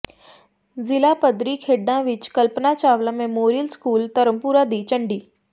ਜ਼ਿਲ੍ਹਾ ਪੱਧਰੀ ਖੇਡਾਂ ਵਿੱਚ ਕਲਪਨਾ ਚਾਵਲਾ ਮੈਮੋਰੀਅਲ ਸਕੂਲ ਧਰਮਪੁਰਾ ਦੀ ਝੰਡੀ